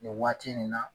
Nin waati nin na